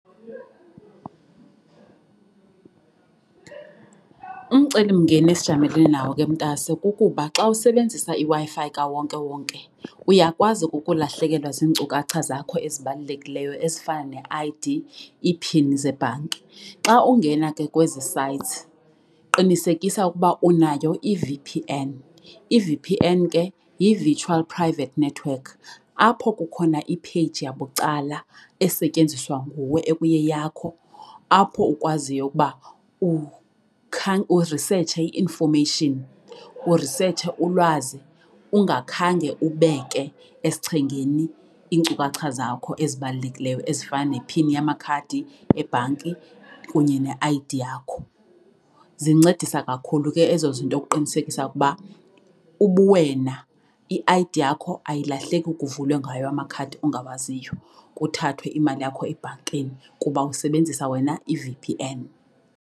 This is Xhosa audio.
Umcelimngeni esijamelene nawo ke, mntase, kukuba xa usebenzisa iWi-Fi kawonkewonke uyakwazi ukulahlekelwa zinkcukacha zakho ezibalulekileyo ezifana ne-I_D, iphini zebhanki. Xa ungena ke kwezi sites qinisekisa ukuba unayo i-V_P_N. I-V_P_N ke yi-virtual private network apho kukhona ipheyiji yabucala esetyenziswa nguwe ekuyeyakho apho ukwaziyo ukuba urisetshse i-information, urisetshe ulwazi ungakhange ubeke esichengeni iinkcukacha zakho ezibalulekileyo ezifana ne-pin yamakhadi ebhanki kunye ne-I_D yakho. Zincedisa kakhulu ke ezo zinto ukuqinisekisa ukuba ubuwena i-I_D yakho ayilahleki kuvulwe ngayo amakhadi ongawaziyo, kuthathwe imali yakho ebhankini kuba usebenzisa wena i-V_P_N.